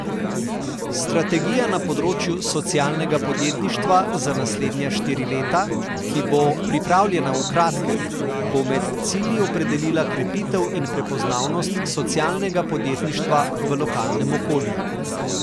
Strategija na področju socialnega podjetništva za naslednja štiri leta, ki bo pripravljena v kratkem, bo med cilji opredelila krepitev in prepoznavnost socialnega podjetništva v lokalnem okolju.